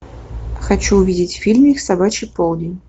хочу увидеть фильмик собачий полдень